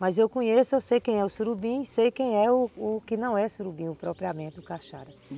Mas eu conheço, eu sei quem é o surubim e sei quem é o que não é surubim, propriamente, o cachara.